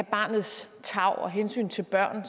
barnets tarv og hensynet til børn